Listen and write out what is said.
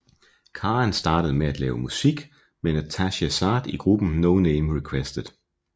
Karen startede med at lave musik med Natasja Saad i gruppen No Name Requested